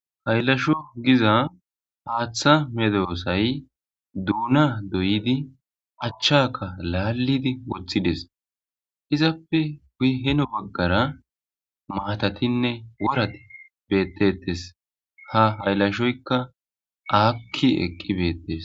Hayilasho giza haatha medossayi dona doyiddi achchaka laliddi wothidesi. Izappe guye hinno bagara matatine worrati bettesi ha hayilashoyika aki eqi betesi.